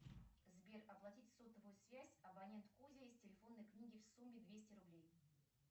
сбер оплатить сотовую связь абонент кузя из телефонной книги в сумме двести рублей